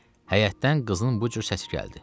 Həyətdən qızın bu cür səsi gəldi: